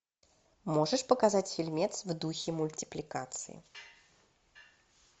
можешь показать фильмец в духе мультипликации